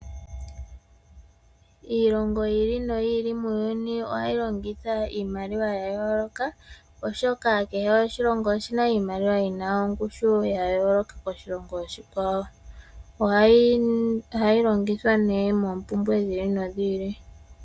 Iilongo yi ili noyi ili muyuni ohayi longitha iimaliwa ya yooloka oshoka kehe oshilongo oshina iimaliwa yina ongushu ya yooloka koshilongo oshikwawo, ohayi longithwa ne moombumbwe dhi ili nodhi ili.